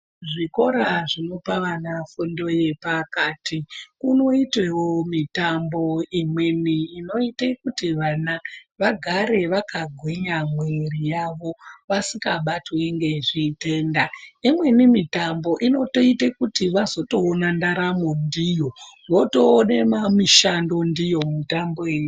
Zvikora zvinopa vana fundo yepakati unoitewo mitambo imweni inoite kuti vana vagare vakagwinya mwiiri yavo vasikabatwi ngezvitenda imweni mitambo inoitote kuti vazotoone ndaramo ndiyo votoone mishando ndiyo mitambo iyoyo.